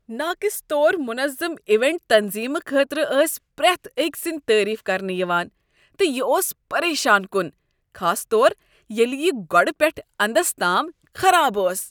ناقص طور منظم ایونٹ تنظیمہٕ خٲطرٕ ٲس پریتھ اکۍ سندۍ تعریف کرنہٕ یوان تہٕ یہ اوس پریشان کن، خاص طور ییٚلہ یہ گۄڈ پیٹھہ انٛدس تام خراب ٲس۔